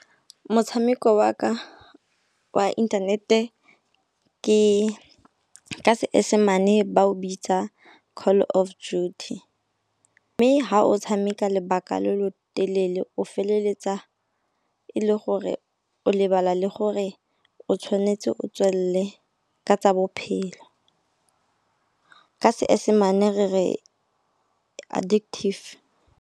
Motshameko wa ka wa internet-e ka seesemane ba o bitsa Call of Duty. Mme ha o tshameka lobaka lo lo telele o feleletsa e le gore o lebala le gore o tshwanetse o tswele ka tsa bophelo. Ka seesemane re re addictive.